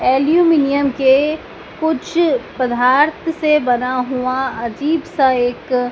aluminium के कुछ पदार्थ से बना हुआ अजीब सा एक--